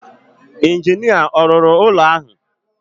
Injinia ọ̀ rụrụ ụlọ ahụ?